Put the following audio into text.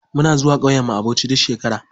Muna zuwa ƙauyen mu a bauchi duk shekara.